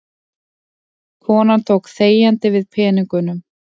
Konan tók þegjandi við peningunum.